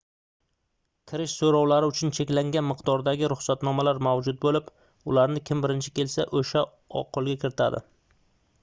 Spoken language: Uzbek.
kirish soʻrovlari uchun cheklangan miqdordagi ruxsatnomalar mavjud boʻlib ularni kim birinchi kelsa oʻsha qoʻlga kiritadi